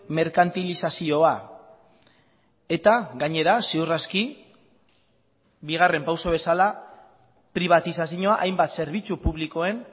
merkantilizazioa eta gainera ziur aski bigarren pauso bezala pribatizazioa hainbat zerbitzu publikoen